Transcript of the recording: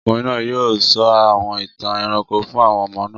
Ọkùnrin náà yóò sọ àwọn ìtàn ẹranko fún àwọn ọmọ náà.